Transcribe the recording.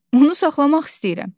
Onu saxlamaq istəyirəm.